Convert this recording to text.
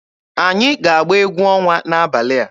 Anyị ga-agba egwu ọnwa n'abalị a.